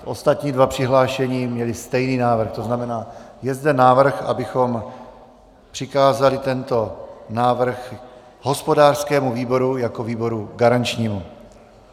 Ostatní dva přihlášení měli stejný návrh, to znamená, je zde návrh, abychom přikázali tento návrh hospodářskému výboru jako výboru garančnímu.